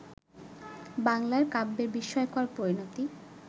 বাংলার কাব্যের বিস্ময়কর পরিণতি